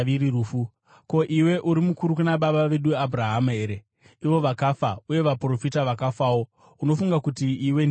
Ko, iwe uri mukuru kuna baba vedu Abhurahama here? Ivo vakafa, uye vaprofita vakafawo. Unofunga kuti iwe ndiwe ani?”